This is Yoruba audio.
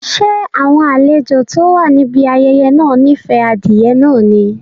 Ṣé àwọn àlejò tó wà níbi ayẹyẹ náà nife adìẹ náà ni?